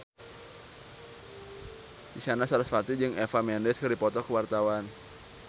Isyana Sarasvati jeung Eva Mendes keur dipoto ku wartawan